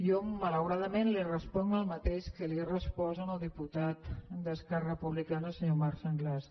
jo malauradament li responc el mateix que li he respost al diputat d’esquerra republicana al senyor marc sanglas